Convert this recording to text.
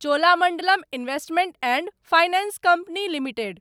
Cholamandalam investment and finance company limited